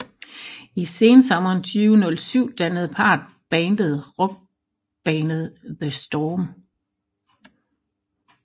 I sensommeren 2007 dannede parret bandet rockbandet The Storm